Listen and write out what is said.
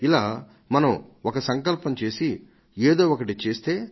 ఇలా మనం ఒక సంకల్పం చేసి ఏదో ఒకటి చేస్తే